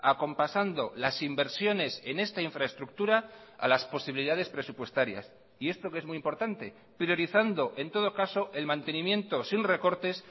acompasando las inversiones en esta infraestructura a las posibilidades presupuestarias y esto que es muy importante priorizando en todo caso el mantenimiento sin recortes